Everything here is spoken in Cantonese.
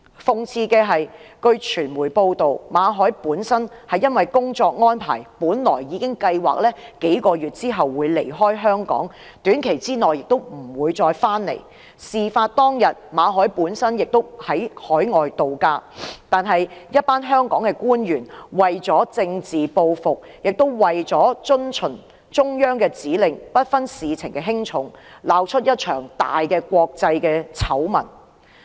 諷刺的是，根據傳媒報道，馬凱由於工作安排，已計劃於幾個月後離開香港，亦不會在短期內回來，事發當天馬凱亦正在海外度假，但一群香港官員為了政治報復並為遵循中央指令，不分事情輕重，竟鬧出一場國際大醜聞。